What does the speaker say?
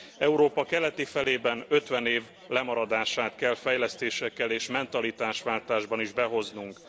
Európa keleti felében 50 év lemaradását kell fejlesztésekkel és mentalitásváltásban is behoznunk.